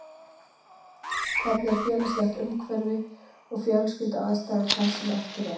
Hvernig er félagslegt umhverfi og fjölskylduaðstæður þess sem eftir er?